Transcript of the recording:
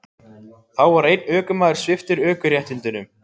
Þá var einn ökumaður sviptur ökuréttindum